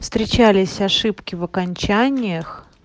встречались ошибки в окончаниях